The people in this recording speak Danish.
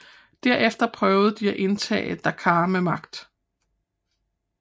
Derefter prøvede de at indtage Dakar med magt